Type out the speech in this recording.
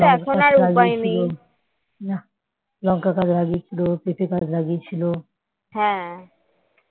লঙ্কা গাছ লাগিয়েছিল পেঁপে গাছ লাগিয়েছিল